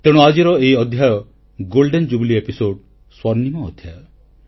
ତେଣୁ ଆଜିର ଏହି ଅଧ୍ୟାୟ ସ୍ୱର୍ଣ୍ଣିମ ଅଧ୍ୟାୟ